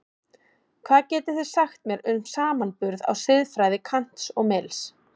Hvað getið þið sagt mér um samanburð á siðfræði Kants og Mills?